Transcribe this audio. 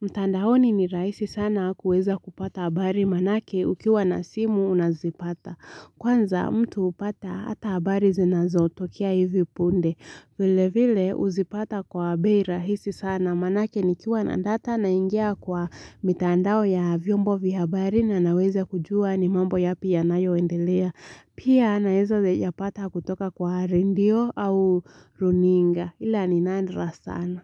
Mtandaoni ni rahisi sana kuweza kupata habari manake ukiwa na simu unazipata. Kwanza mtu hupata hata habari zinazotokea hivi punde. Vile vile huzipata kwa bei rahisi sana manake nikiwa na data naingia kwa mitandao ya vyombo vya habari na naweze kujua ni mambo yapi yanayoendelea. Pia naweza yapata kutoka kwa redio au runinga ila ni nadra sana.